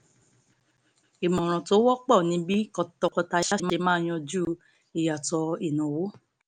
ìmọ̀ràn tó wọpọ̀ ni bí tọkọtaya ṣe máa yanjú ìyàtọ̀ ináwó